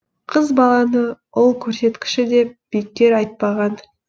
қыз баланы ұл көрсеткіші деп бекер айтпаған